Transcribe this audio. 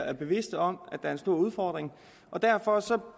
er bevidste om er en stor udfordring og derfor